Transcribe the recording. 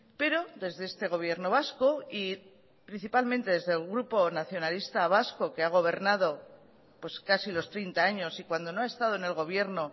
pero desde este gobierno vasco y principalmente desde el grupo nacionalista vasco que ha gobernado pues casi los treinta años y cuando no ha estado en el gobierno